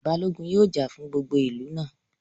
Balógun yóò jà fún gbogbo ìlú náà